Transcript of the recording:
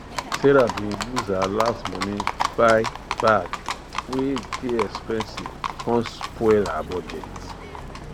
sarah bin use her last money buy bag wey dey expensive come spoil her budget